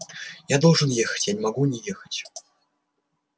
я должен ехать я не могу не ехать